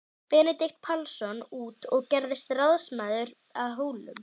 Benedikt Pálsson út og gerðist ráðsmaður að Hólum.